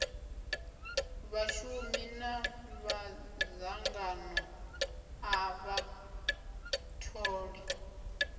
vhashumi na madzangano a vhatholi